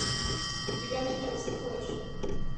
у тебя найдется флэш